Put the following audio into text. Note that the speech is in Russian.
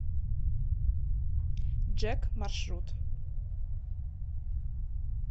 джэк маршрут